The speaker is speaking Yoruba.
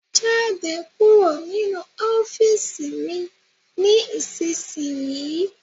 Jáde kúrò nínu ọ́fììisí mí ní isísìnyíí!